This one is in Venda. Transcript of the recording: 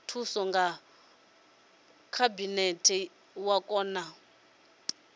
thuso ya khabinete wa kona